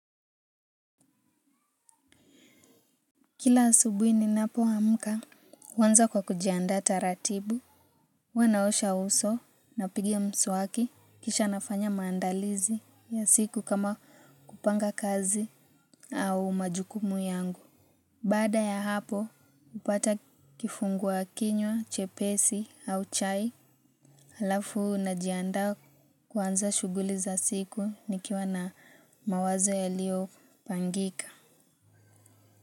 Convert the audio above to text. Kila asubuhi ninapoamka huanza kwa kujiandaa taratibu. Huwa naosha uso napiga mswaki kisha nafanya maandalizi ya siku kama kupanga kazi au majukumu yangu. Baada ya hapo hupata kifungua kinywa, chepesi au chai. Halafu najiandaa kuanza shughuli za siku nikiwa na mawazo yaliyopangika.